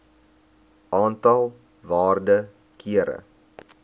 aantal waarde kere